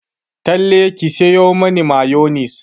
Talle ki sayo mani mayonis!